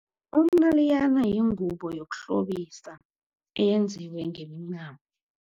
Umnaliyana yingubo yokuhlobisa eyenziwe ngemincamo.